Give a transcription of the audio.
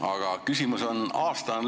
Aga küsimus on selline.